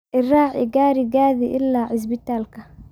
Ii raaci garigadhi ila cisbitaalka